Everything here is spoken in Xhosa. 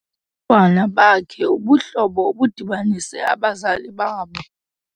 ntwana bakhe ubuhlobo obudibanise abazali babo.